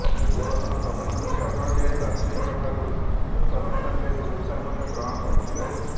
ସେ ପୂର୍ବତନ ପ୍ରଧାନମନ୍ତ୍ରୀ ଅଟଳ ବିହାରୀ ବାଜପେୟୀଙ୍କଠାରୁ ଶ୍ରେଷ୍ଠ ରପ୍ତାନିକାରୀ ପୁରସ୍କାର ମଧ୍ୟ ଗ୍ରହଣ କରିଥିଲେ